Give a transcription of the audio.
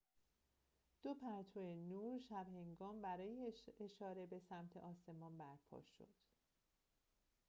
دو پرتو نور شب‌هنگام برای اشاره به سمت آسمان برپا شدند